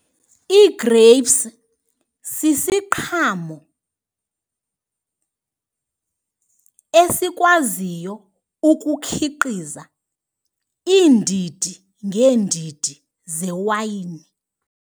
Igreyipsi sisiqhamo esikwaziyo ukukhiqiza iindidi ngeendidi zewayini.